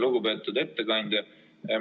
Lugupeetud ettekandja!